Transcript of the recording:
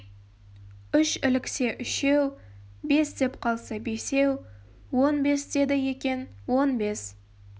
үш іліксе үшеу бес деп қалса бесеу он бес деді екен он бес